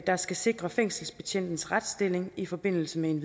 der skal sikre fængselsbetjentenes retsstilling i forbindelse med en